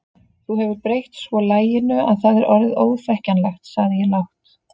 Þú hefur breytt svo laginu að það er orðið óþekkjanlegt sagði ég lágt.